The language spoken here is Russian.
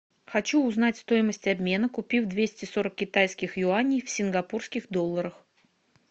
хочу узнать стоимость обмена купив двести сорок китайских юаней в сингапурских долларах